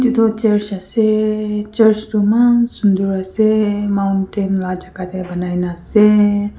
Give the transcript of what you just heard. etu church ase church toh eman sunder ra ase mountain la jaka te banai ne ase.